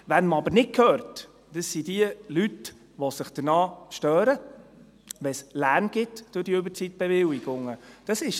Wen man jedoch nicht hört, sind jene Leute, die sich daran stören, wenn es durch die Überzeitbewilligungen Lärm gibt.